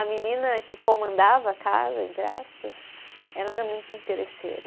A menina que comandava a casa, entre aspas, ela era muito interesseira.